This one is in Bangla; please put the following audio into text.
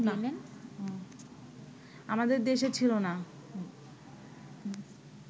আমাদের দেশে ছিল না